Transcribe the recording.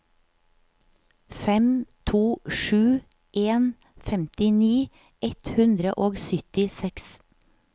fem to sju en femtini ett hundre og syttiseks